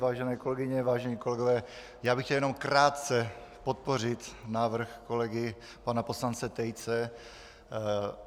Vážené kolegyně, vážení kolegové, já bych chtěl jenom krátce podpořit návrh kolegy pana poslance Tejce.